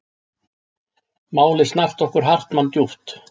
Málið snart okkur Hartmann djúpt.